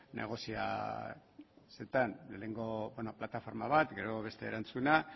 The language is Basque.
negoziazioetan lehenengo plataforma bat gero beste erantzuna